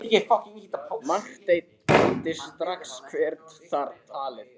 Marteinn kenndi strax hver þar talaði.